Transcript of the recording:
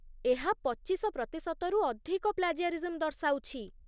ଏହା ପଚିଶ ପ୍ରତିଶତ ରୁ ଅଧିକ ପ୍ଳାଜିଆରିଜମ୍ ଦର୍ଶାଉଛି।